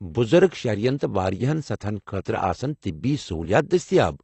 بزرگ شہرٮ۪ن تہٕ واریاہن سطحن خٲطرٕ آسن طبی سہولیات دٔستیاب۔